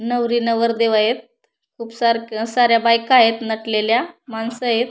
नवरी नवरदेव आहेत खूप सारक्या साऱ्या बायकायत नटलेल्या मानसयत.